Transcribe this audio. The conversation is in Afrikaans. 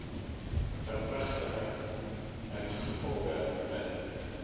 verpligtinge ingevolge bin